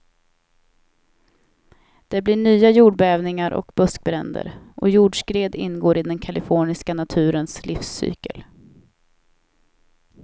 Det blir nya jordbävningar och buskbränder, och jordskred ingår i den kaliforniska naturens livscykel.